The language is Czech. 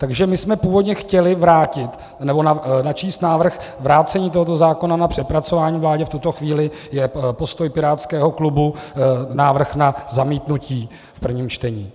Takže my jsme původně chtěli vrátit, nebo načíst návrh vrácení tohoto zákona na přepracování vládě, v tuto chvíli je postoj pirátského klubu návrh na zamítnutí v prvním čtení.